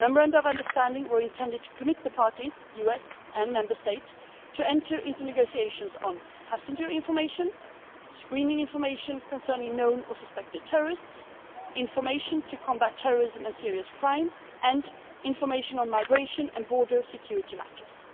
Programme. The memorandum of understanding was intended to commit the parties the US and the specific Member States to enter into negotiations on passenger information, information on the screening of known or suspected terrorists, information to combat terrorism and serious crime and information on migration and border security